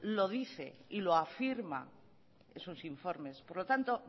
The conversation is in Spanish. lo dice y lo afirma en sus informes por lo tanto